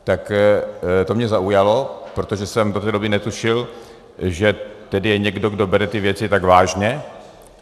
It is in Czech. Tak to mě zaujalo, protože jsem do té doby netušil, že tady je někdo, kdo bere ty věci tak vážně.